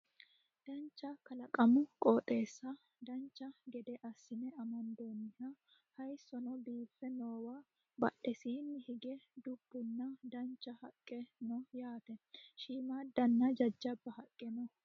dancha kalaqamu qoxeessa dancha gede assine amandoonniha hayeessono biiffe noowa badheseenni hige dubbunnna dancha haqqe no yaate shiimmaaddanna jajjabba haqqe no